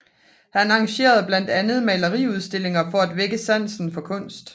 Han arrangerede blandt andet maleriudstillinger for at vække sansen for kunst